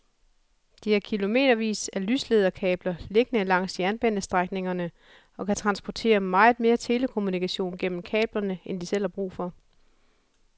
De har kilometervis af lyslederkabler liggende langs jernbanestrækningerne og kan transportere meget mere telekommunikation gennem kablerne end de selv har brug for.